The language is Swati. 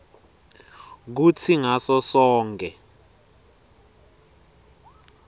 kutsi ngaso sonkhe